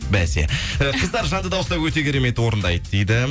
бәсе і қыздар жанды дауыста өте керемет орындайды дейді